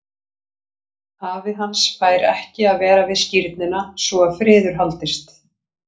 Afi hans fær ekki að vera við skírnina svo að friður haldist.